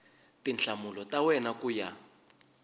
tinhlamulo ta wena ku ya